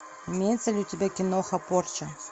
имеется ли у тебя киноха порча